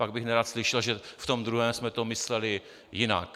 Pak bych nerad slyšel, že v tom druhém jsme to mysleli jinak.